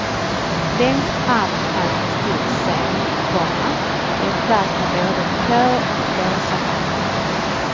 Längst fram fanns en stor scen, komma med plats för både kör och blåsare. punkt